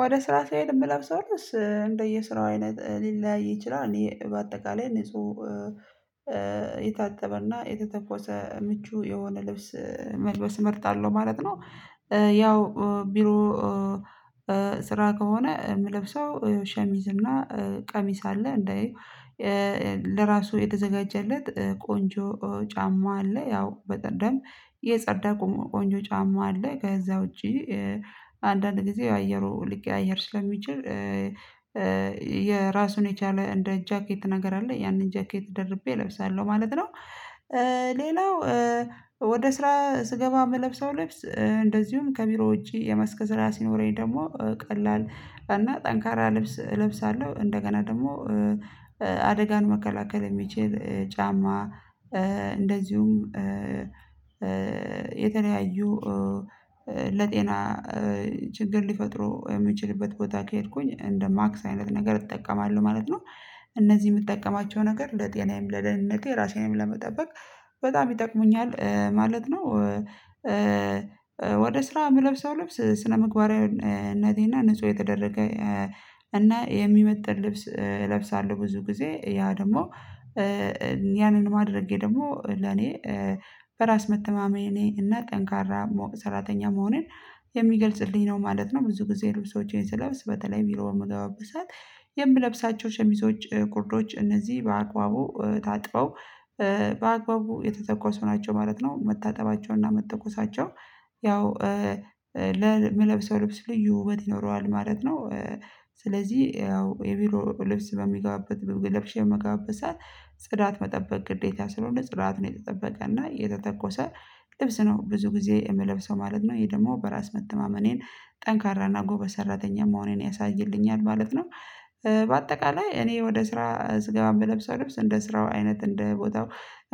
ወደ ስራ ስሄድ የምለብሰው ልብስ እንደየ ስራው አይነት ሊለያይ ይችላል እኔ በአጠቃላይ እኔ ንጹ የታጠበና የተተኮሰ ምቹ የሆነ ልብስ መልበስ እመርጣለሁ ማለት ነው። ያው ቢሮ ስራ ከሆነ የምለብሰው ሸሚዝ እና ቀሚስ አለ እንዳይ ለራሱ የተዘጋጀለት ቆንጆ ጫማ አለ ያው በቀደም የጸዳ ቆንጆ ጫማ አለ ከዛ ውጪ አንዳንድ ጊዜ አየሩ ሊቀያየር ስለሚችል የራሱን የቻለ እንደ ጃኬት ነገር አለ ያንን ጃኬት ደርቤ እለብሳለሁ ማለት ነው። ሌላው ወደ ስራ ስገባ የምለብሰው ልብስ እንደዚሁም ከቢሮ ውጪ የመስክ ሰራ ሲይኖረኝ ደግሞ ቀላል እና ጠንካራ ልብስ እለብሳለሁ እንደገና ደግሞ አደጋን መከላከል የሚችል ጫማ እንደዚሁም የተለያዩ ለጤና ችግር ሊፈጥሩ የምችልበት ቦታ ከሄድኩኝ እንደ ማክስ አይነት ነገር እጠቀማለሁ ማለት ነው። እነዚህ የምጠቀማቸው ነገር ለጤናዬም ለደህንነቴ ራሴንም ለመጠበቅ በጣም ይጠቅሙኛል ማለት ነው። ወደ ስራ የምለብሰው ልብስ ስነ ምግባሪያዊነቴና ንጹህ የተደረገ እና የሚመጥን ልብስ እለብሳለሁ ብዙ ጊዜ ያ ደግሞ ያንን ማድረጌ ደግሞ ለኔ በራስ መተማመኔ እና ጠንካራ ሰራተኛ መሆኔን የሚገልጽልኝ ነው ማለት ነው። ብዙ ጊዜ ልብሶቼን ስለብስ በተለይ ቢሮ በምገባበት ሰዓት የምለብሳቸው ሸሚዞች ጉርዶች እነዚህ በአግባቡ ታጥበው በአግባቡ የተተኮሱ ናቸው ማለት ነው መታጠባቸውና መተኮሳቸው ያው ለምለብሰው ልብስ ልዩ ውበት ይኖረዋል ማለት ነው። ስለዚህ ያው የቢሮ ልብስ በሚጋብበት ለብሼ በምገባበት ጽዳት መጠበቅ ግዴታ ስለሆነ ጽዳት ነው የተጠበቀና የተተኮሰ ልብስ ነው ብዙ ጊዜ የምለብሰው ማለት ነው። ይሄ ደግሞ በራስ መተማመኔን ጠንካራና ጎበዝ ሰራተኛ መሆኔን ያሳይልኛል ማለት ነው። በአጠቃላይ እኔ ወደ ስራ ስገባ እምለብሰው ልብስ ገብተው እንደ ስራው አይነት እንደ ቦታው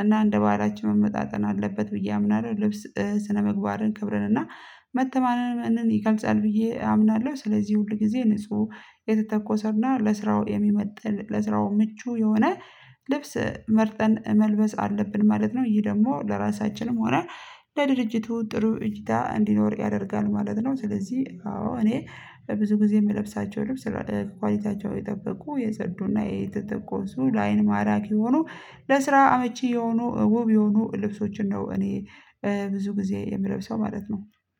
እና እንደ ባህላችን መመጣጠን አለበት ብዬ አምናለሁ ልብስ ስነምግባርን ክብርን እና መተማመንን ይገልጻል ብዬ አምናለሁ። ስለዚህ ሁል ጊዜ ንጹህ የተተኮሰና ለስራው የሚመጥን ለስራው ምቹ የሆነ ልብስ መርጠን መልበስ አለብን ማለት ነው ይህ ደግሞ ለራሳችንም ሆነ ለድርጅቱ ጥሩ እይታ እንዲኖር ያደርጋል ማለት ነው። ስለዚህ አዎ እኔ በብዙ ጊዜ የምለብሳቸው ልብስ ኳሊቲያቸው የጠበቁ የጸዱና የተተኮሱ ላይን ማራኪ የሆኖ ለስራ አመቺ የሆኑ ዉብ የሆኑ ልብሶችን ነው እኔ ብዙ ጊዜ የምለብሰው ማለት ነው